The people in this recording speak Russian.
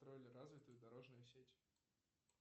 строили развитую дорожную сеть